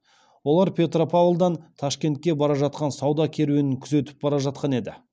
олар петропавлдан ташкентке бара жатқан сауда керуенін күзетіп бара жатқан еді